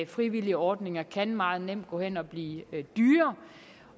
frivillige ordninger kan meget nemt gå hen og blive dyre